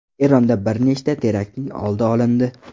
Eronda bir nechta teraktning oldi olindi.